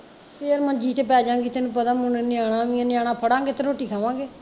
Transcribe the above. ਫੇਰ ਮੰਜੀ ਤੇ ਪਏਜਾਗੀ ਤੈਨੂੰ ਪਤਾ ਹੁਣ ਨਿਆਣਾ ਵੀ ਐ ਨਿਆਣਾ ਪੜਾਂਗੇ ਤੇ ਰੋਟੀ ਖਾਵਾਂਗੇ